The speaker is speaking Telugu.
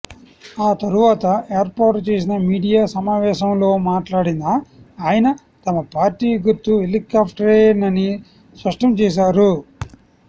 ఆ తరువాత ఏర్పాటు చేసిన మీడియా సమావేశంలో మాట్లాడిన ఆయన తమ పార్టీ గుర్తు హెలికాప్టరేనని స్పష్టం చేశారు